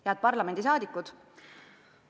Head parlamendiliikmed!